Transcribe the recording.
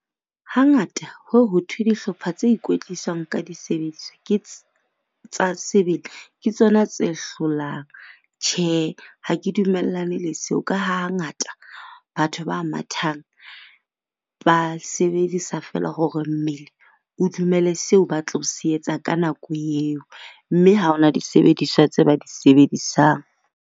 Hangata ho ye ho thwe dihlopha tse ikwetlisang ka disebediswa ke tsona tse hlolang, tjhe ha ke dumellane le seo. Ka ha hangata batho ba mathang ba sebedisa feela hore mmele o dumele seo ba tlo se etsa ka nako eo, mme ha ho na disebediswa tse ba di sebedisang.